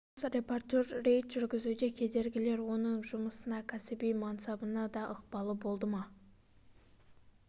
жас репортер рейд жүргізуде кедергілер оның жұмысына кәсіби мансабына да ықпалы болды ма